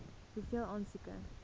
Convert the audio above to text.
hoeveel aansoeke